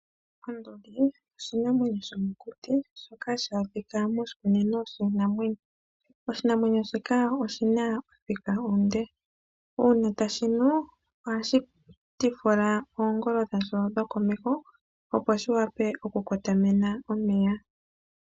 Onduli oshinamwenyo shomokuti shoka hashi adhika moshikunino shiinamwenyo. Oshinamwenyo shika oshina othika onde, uuna tashi nu ohashi tivula oongolo dhasho dhokomeho opo shi wape oku kotomena omeya.